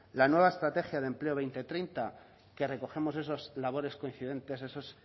la nueva estrategia de empleo dos mil veinte dos mil treinta que recogemos esos